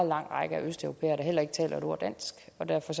lang række østeuropæere der heller ikke taler et ord dansk og derfor